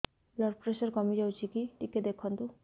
blood pressure କମି ଯାଉଛି କି ଟିକେ ଦେଖନ୍ତୁ